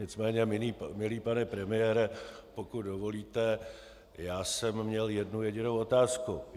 Nicméně, milý pane premiére, pokud dovolíte, já jsem měl jednu jedinou otázku.